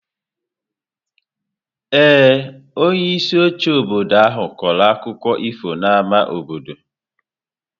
Ee, onyeisi oche obodo ahụ kọrọ akụkọ ifo n'ámá obodo.